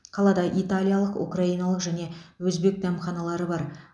қалада италиялық украиналық және өзбек дәмханалары бар